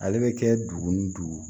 Ale bɛ kɛ dugu ni dugu